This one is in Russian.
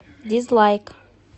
дизлайк